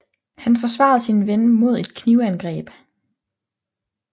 Han forsvarede sin ven mod et knivangreb